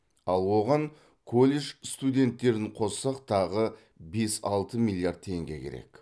ал оған колледж студенттерін қоссақ тағы бес алты миллиард теңге керек